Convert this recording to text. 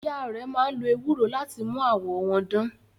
Ìyá rẹ̀ máa ń lo ewúro láti mú àwọ̀ wọn dán.